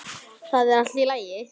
Það er allt í lagi.